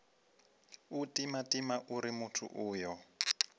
u timatima uri muthu uyo